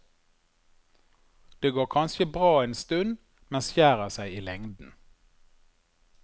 Det går kanskje bra en stund, men skjærer seg i lengden.